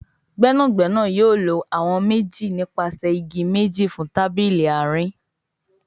Gbẹ́nàgbẹ́nà yóò ló àwọn méjì nípasẹ ìgi méjì fún tábìlì àárín